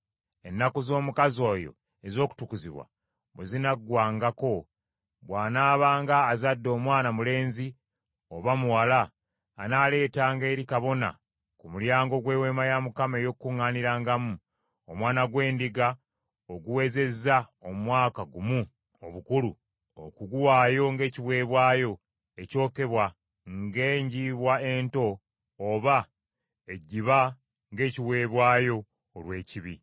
“ ‘Ennaku z’omukazi oyo ez’okutukuzibwa bwe zinaggwangako, bw’anaabanga azadde omwana mulenzi oba muwala, anaaleetanga eri kabona ku mulyango gw’Eweema ey’Okukuŋŋaanirangamu, omwana gw’endiga oguwezezza omwaka gumu obukulu okuguwaayo ng’ekiweebwayo ekyokebwa, ng’enjiibwa ento oba ejjiba ng’ekiweebwayo olw’ekibi.